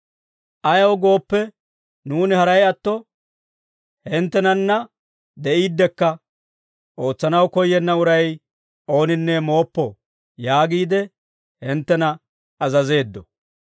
Ayaw gooppe, nuuni haray atto hinttenanna de'iiddekka, «Ootsanaw koyyenna uray ooninne mooppo» yaagiide hinttena azazeeddo.